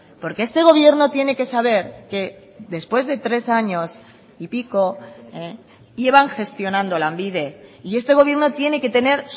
porque este gobierno tiene que saber que después de tres años y pico llevan gestionando lanbide y este gobierno tiene que tener